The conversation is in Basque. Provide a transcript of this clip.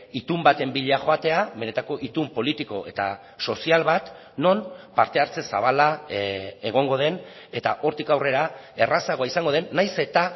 itun baten bila joatea benetako itun politiko eta sozial bat non parte hartze zabala egongo den eta hortik aurrera errazagoa izango den nahiz eta